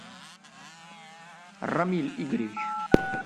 рамиль игоревич